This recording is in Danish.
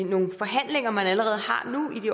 nogle forhandlinger man allerede har nu i de